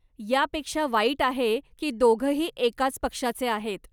यापेक्षा वाईट हे आहे की दोघंही एकाच पक्षाचे आहेत.